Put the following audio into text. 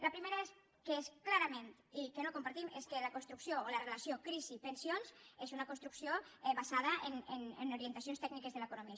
la primera que clarament no compartim és que la relació crisi pensions és una construcció basada en orien tacions tècniques de l’economia